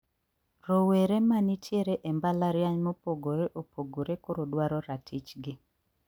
Rowere ma nitiere e mbalariany` mopogore opogore koro dwaro ratich gi